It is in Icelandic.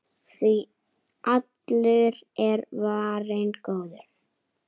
Því allur er varinn góður.